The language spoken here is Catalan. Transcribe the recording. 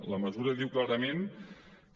la mesura diu clarament que